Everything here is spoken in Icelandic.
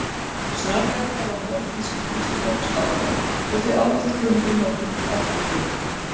Snorra-Edda var notuð sem kennslubók skálda og því ávallt kunn í mörgum eftirritum.